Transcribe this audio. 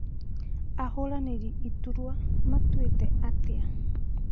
Ahũranĩri iturua matuĩte atĩa?